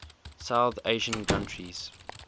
south asian countries